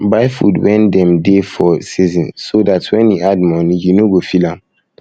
buy food when dem dey for season so um dat when e add money you no go feel am